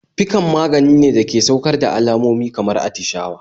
Piccan maganine dake saukar da alamomi kamar attishawa